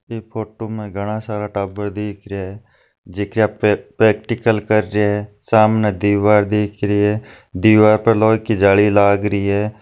ये फोटू माँ घाना सारा टाबर दिख रया है जे की यहाँ पे प्रैक्टिकल कर रहे है सामने दिवार दिख रही है दीवारी पे लो की जाली लाग रही है।